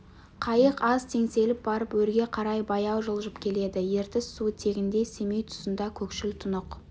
қайық аз теңселіп барып өрге қарай баяу жылжып келеді ертіс суы тегінде семей тұсында көкшіл тұнық